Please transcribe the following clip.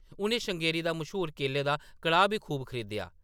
उʼनें श्रृंगेरी दा मश्हूर केले दा कड़ाह्‌‌ बी खूब खरीदेआ ।